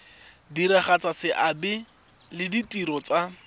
diragatsa seabe le ditiro tsa